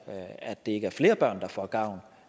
at der ikke er flere børn der får gavn